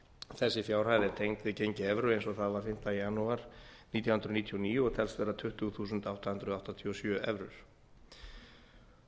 þessi fjárhæð er tengd við gengi evru eins og það var fimmta janúar nítján hundruð níutíu og níu og telst vera tuttugu þúsund átta hundruð áttatíu og sjö evrur